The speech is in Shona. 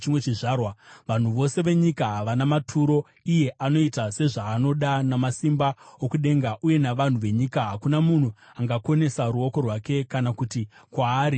Vanhu vose venyika vanoonekwa sevasina maturo. Iye anoita sezvaanoda namasimba okudenga uye navanhu venyika. Hakuna munhu angakonesa ruoko rwake kana kuti kwaari, “Waiteiko?”